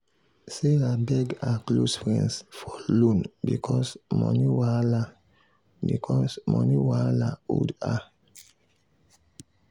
sarah beg her close friends for loan because money wahala because money wahala hold her.